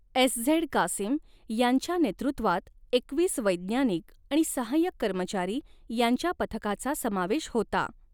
SZ Qasim यांच्या नेतृत्वात एकवीस वैज्ञानिक आणि सहाय्यक कर्मचारी यांच्या पथकाचा समावेश होता.